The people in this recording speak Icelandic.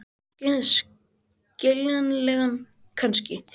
Skiljanlega kannski.